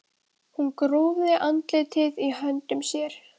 Hún grúfði andlitið í höndum sér.